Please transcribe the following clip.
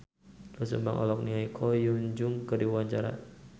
Doel Sumbang olohok ningali Ko Hyun Jung keur diwawancara